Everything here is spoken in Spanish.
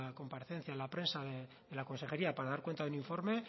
comparecencia en la prensa de la consejería para dar cuenta de un informe